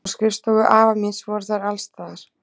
Á skrifstofu afa míns voru þær alstaðar.